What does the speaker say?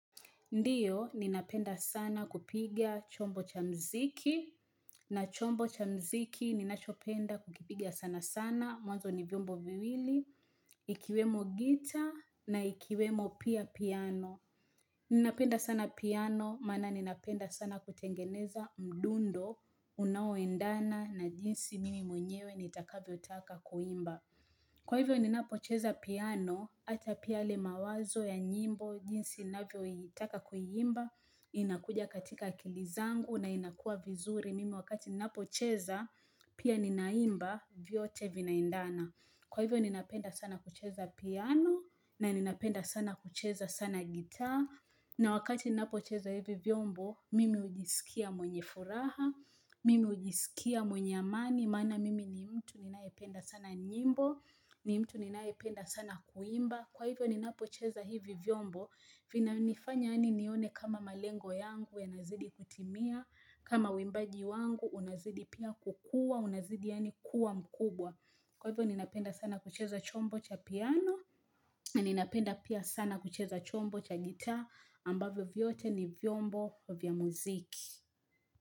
Ndiyo, ninapenda sana kupiga chombo cha mziki, na chombo cha mziki ninachopenda kukipigia sana sana, mwanzo ni vyombo viwili, ikiwemo gitaa, na ikiwemo pia piano. Ninapenda sana piano, maana ninapenda sana kutengeneza mdundo, unaoendana, na jinsi mimi mwenyewe nitakavyo taka kuimba. Kwa hivyo ninapocheza piano, hata pia yale mawazo ya nyimbo, jinsi ninavyo itaka kuiimba, inakuja katika akili zangu na inakuwa vizuri mimi wakati ninapocheza, pia ninaimba, vyote vinaendana. Kwa hivyo ninapenda sana kucheza piano, na ni napenda sana kucheza sana gitaa, na wakati ninapocheza hivi vyombo, mimi hujisikia mwenye furaha, mimi hujisikia mwenye amani, maana mimi ni mtu ninayependa sana nyimbo, ni mtu ninayependa sana kuimba. Kwa hivyo ninapocheza hivi vyombo vinanifanya yaani nione kama malengo yangu yanazidi kutimia kama uimbagi wangu unazidi pia kukua unazidi yaani kuwa mkubwa Kwa hivyo ninapenda sana kucheza chombo cha piano Ninapenda pia sana kucheza chombo cha gitaa ambavyo vyote ni vyombo vya muziki.